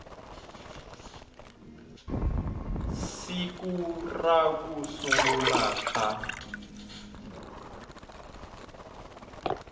siku ra ku sungula ka